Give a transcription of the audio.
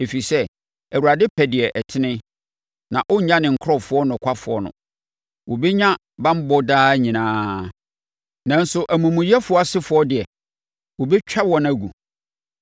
Ɛfiri sɛ, Awurade pɛ deɛ ɛtene, na ɔrennya ne nkurɔfoɔ nokwafoɔ no. Wɔbɛnya banbɔ daa nyinaa Nanso, amumuyɛfoɔ asefoɔ deɛ, wɔbɛtwa wɔn agu.